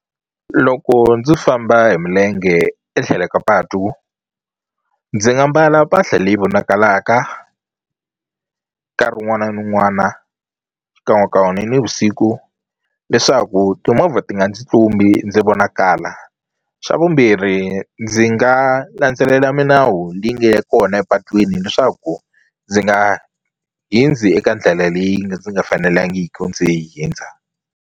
Loko ndzo famba hi milenge etlhelo ka patu ndzi nga mbala mpahla leyi vonakalaka nkarhi wun'wana ni wun'wana xikan'wekan'we ni nivusiku leswaku timovha ti nga ndzi tlumbi ndzi vonakala xa vumbirhi ndzi nga landzelela minawu leyi nge kona epatwini leswaku ndzi nga hundzi eka ndlela leyi ndzi nga fanelangiki ndzi hundza.